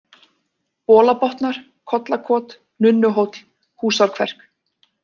Bolabotnar, Kollakot, Nunnuhóll, Húsárkverk